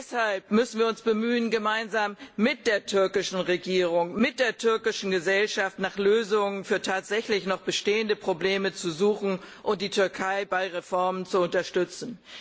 Deshalb müssen wir uns bemühen, gemeinsam mit der türkischen Regierung und der türkischen Gesellschaft nach Lösungen für tatsächlich noch bestehende Probleme zu suchen und die Türkei bei Reformen zu unterstützen.